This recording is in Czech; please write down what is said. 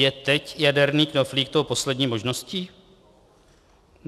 Je teď jaderný knoflík tou poslední možností?"